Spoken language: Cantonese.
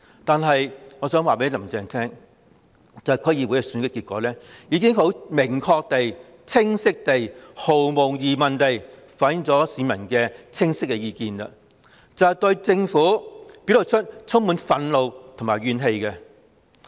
但我想告訴"林鄭"，區議會選舉的結果已明確地、清晰地及毫無疑問地反映出市民的意見，他們對政府充滿憤怒和怨氣。